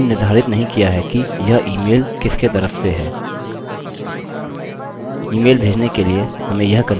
हमने निर्धारित नहीं किया है कि यह इमेल किसके तरफ से है